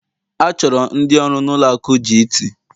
achọrọ ndị ọrụ na-ụlọ akụ Gt